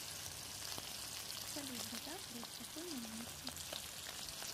салют до завтра и спокойной ночи